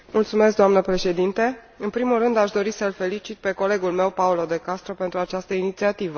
Doamnă președintă, în primul rând aș dori să l felicit pe colegul meu, Paolo De Castro, pentru această inițiativă.